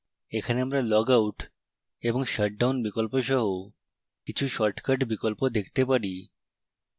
এখানে আমরা log out এবং shut down বিকল্প সহ কিছু shortcut বিকল্প দেখতে পারি